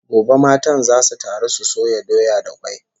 Gobe matan zasu taru su soya doya da kwai